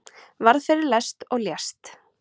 Varð fyrir lest og lést